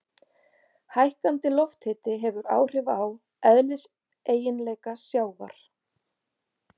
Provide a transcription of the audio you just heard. Hækkandi lofthiti hefur áhrif á eðliseiginleika sjávar.